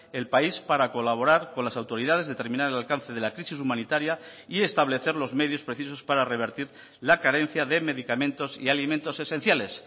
el país para colaborar con las autoridades determinar el alcance de la crisis humanitaria y establecer los medios precisos para revertir la carencia de medicamentos y alimentos esenciales